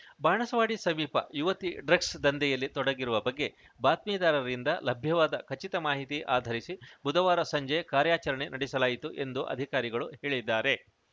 ಬಾಣಸವಾಡಿ ಸಮೀಪ ಯುವತಿ ಡ್ರಗ್ಸ್‌ ದಂಧೆಯಲ್ಲಿ ತೊಡಗಿರುವ ಬಗ್ಗೆ ಬಾತ್ಮೀದಾರರಿಂದ ಲಭ್ಯವಾದ ಖಚಿತ ಮಾಹಿತಿ ಆಧರಿಸಿ ಬುಧವಾರ ಸಂಜೆ ಕಾರ್ಯಾಚರಣೆ ನಡೆಸಲಾಯಿತು ಎಂದು ಅಧಿಕಾರಿಗಳು ಹೇಳಿದ್ದಾರೆ